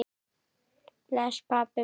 Bless, pabbi minn.